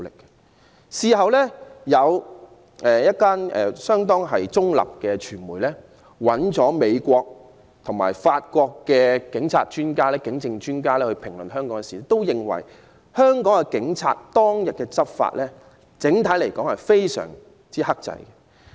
這次事件後，有相當中立的傳媒機構，邀請美國和法國的警證專家評論這事件，他們均認為香港警方當日執法整體而言非常克制。